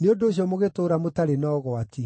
nĩ ũndũ ũcio mũgĩtũũra mũtarĩ na ũgwati.